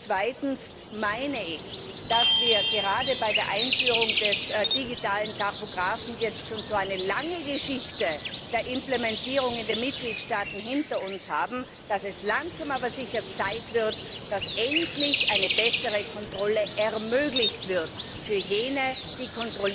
Zweitens meine ich, dass wir gerade bei der Einführung des digitalen Tachographen jetzt schon so eine lange Geschichte der Implementierung in den Mitgliedstaaten hinter uns haben, dass es langsam aber sicher Zeit wird, dass endlich eine bessere Kontrolle ermöglicht wird für jene, die